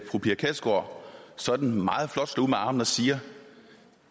fru pia kjærsgaard sådan meget flot slår ud med armene og siger